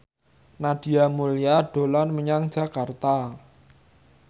Nadia Mulya dolan menyang Jakarta